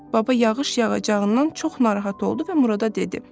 Baba yağış yağacağından çox narahat oldu və Murada dedi: